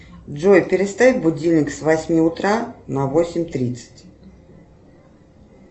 джой переставь будильник с восьми утра на восемь тридцать